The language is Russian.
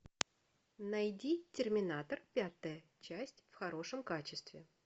найди терминатор пятая часть в хорошем качестве